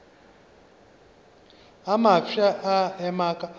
a mafsa a ema ka